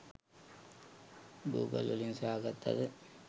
Google වලින් සොයා ගත්තද